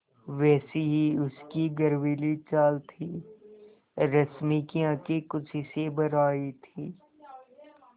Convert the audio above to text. वैसी ही उसकी गर्वीली चाल थी रश्मि की आँखें खुशी से भर आई थीं